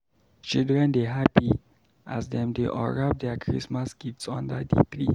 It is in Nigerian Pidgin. Children dey happy as dem dey unwrap their Christmas gifts under the tree.